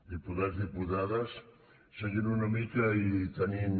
diputats diputades seguint una mica i tenint